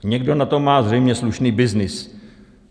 Někdo na tom má zřejmě slušný byznys.